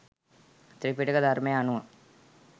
ත්‍රිපිටක ධර්මයට අනුව